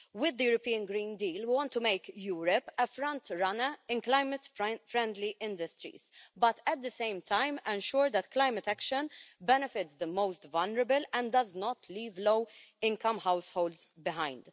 With the European Green Deal, we want to make Europe a front-runner in climate-friendly industries but, at the same time, I am sure that climate action benefits the most vulnerable and does not leave low-income households behind.